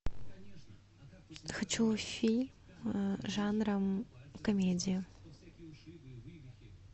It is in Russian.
хочу фильм жанра комедия